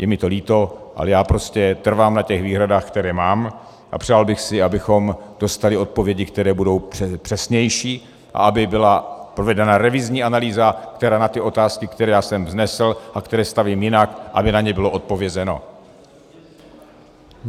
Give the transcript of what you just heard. Je mi to líto, ale já prostě trvám na těch výhradách, které mám, a přál bych si, abychom dostali odpovědi, které budou přesnější, a aby byla provedena revizní analýza, která na ty otázky, které já jsem vznesl a které stavím jinak, aby na ně bylo odpovězeno.